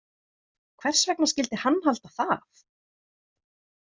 Hvers vegna skyldi hann halda það?